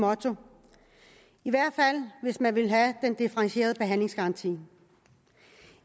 motto i hvert fald hvis man vil have den differentierede behandlingsgaranti